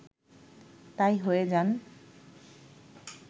তাই হয়ে যান